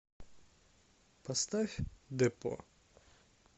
поставь депо